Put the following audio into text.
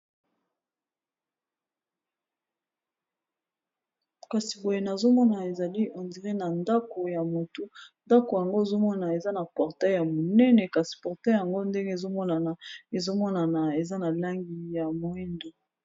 kasi boye nazomona ezali endire na ndako ya motu ndako yango ezomona eza na portei ya monene kasi portei yango ndenge ezomonana ezomonana eza na langi ya moindo